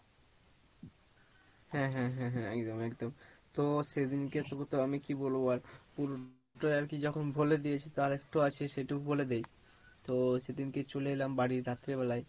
হ্যাঁ হ্যাঁ হ্যাঁ হ্যাঁ একদম একদম তো সেদিনকে তোকে তো আমি কি বলবো আর পুরোটাই আর কি যখন বলে দিয়েছি তা আর একটু আছে সেটুকু বলে দেই, তো সেদিনকে চলে এলাম বাড়ি রাত্রে বেলাই